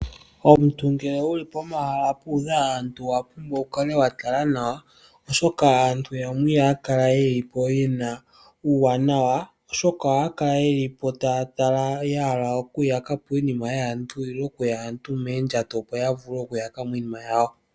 Omuntu ngele wu li pomahala puudha aantu owa pumbwa wu kale wa tala nawa, oshoka aantu yamwe ihaya kala ye li po ye na uuwanawa. Ohaya kala taya tala ya hala okuyaka po iinima yaantu nenge okuya aantu moondjato opo ya vule okuyaka mo iinima yawo.